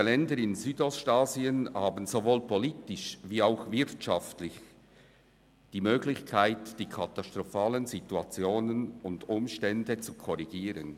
Diese Länder in Südostasien haben sowohl politisch als auch wirtschaftlich die Möglichkeit, die katastrophalen Situationen und Umstände zu korrigieren.